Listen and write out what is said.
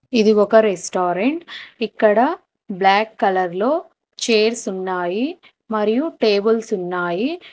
ఇది ఒక రెస్టారెంట్ ఇక్కడ బ్లాక్ కలర్ లో చేర్స్ ఉన్నాయి మరియు టేబుల్స్ ఉన్నాయి.